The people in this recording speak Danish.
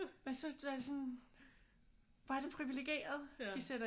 Så er det sådan hvor er det priviligeret i sætter